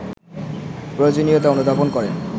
প্রয়োজনীয়তা অনুধাবন করেন